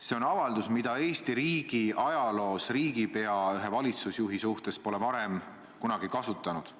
See on avaldus, mida Eesti riigi ajaloos pole riigipea valitsusjuhi suhtes varem kunagi kasutanud.